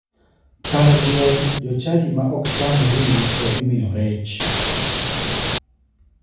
Kar liel, jochadi ma ok cham ring'o to imoyo rech.